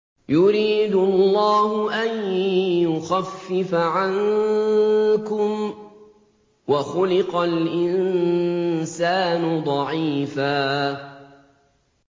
يُرِيدُ اللَّهُ أَن يُخَفِّفَ عَنكُمْ ۚ وَخُلِقَ الْإِنسَانُ ضَعِيفًا